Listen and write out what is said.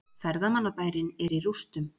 Ferðamannabærinn er í rústum